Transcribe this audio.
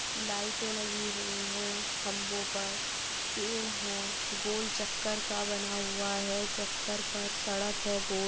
लाइटे लगी हुई हैं खम्ब पर पेड़ है गोल चक्कर का बना हुआ है चक्कर पर सड़क है गोल।